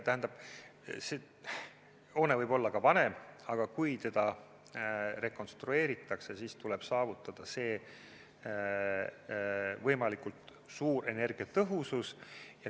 Tähendab, hoone võib olla ka vanem, aga kui teda rekonstrueeritakse, siis tuleb saavutada võimalikult suur energiatõhusus.